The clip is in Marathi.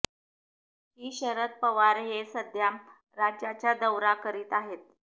ही शरद पवार हे सध्या राज्याच्या दौरा करत आहेत